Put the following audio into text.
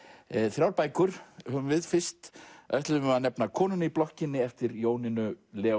þrjár bækur höfum við fyrst ætlum við að nefna konuna í blokkinni eftir Jónínu